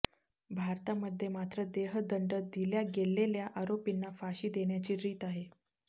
भारतामध्ये मात्र देहदंड दिल्या गेल्लेल्या आरोपींना फाशी देण्याची रीत आहे